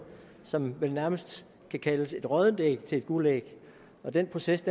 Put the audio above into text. som vel nærmest kan kaldes et råddent æg til et guldæg den proces